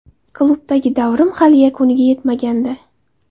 Klubdagi davrim hali yakuniga yetmagandi.